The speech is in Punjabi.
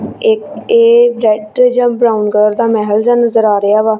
ਇੱਕ ਇਹ ਟਰੈਕਟਰ ਜਾਂ ਬਰਾਉਨ ਕਲਰ ਦਾ ਮਹਿਲ ਜਆ ਨਜ਼ਰ ਆ ਰਿਹਾ ਵਾ।